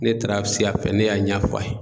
Ne taara se a fɛ ne y'a ɲɛf'a ye.